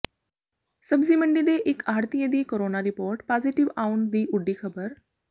ਸਬਜ਼ੀ ਮੰਡੀ ਦੇ ਇਕ ਆੜ੍ਹਤੀਏ ਦੀ ਕੋਰੋਨਾ ਰਿਪੋਰਟ ਪਾਜ਼ੇਟਿਵ ਆਉਣ ਦੀ ਉੱਡੀ ਖ਼ਬਰ